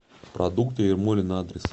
продукты ермолино адрес